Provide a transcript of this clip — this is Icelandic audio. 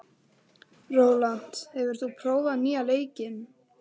Rólant, hefur þú prófað nýja leikinn?